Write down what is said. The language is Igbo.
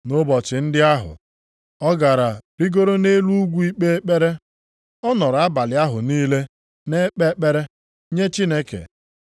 Nʼụbọchị ndị ahụ, ọ gara rigoro nʼelu ugwu ikpe ekpere. Ọ nọrọ abalị ahụ niile na-ekpe ekpere nye Chineke.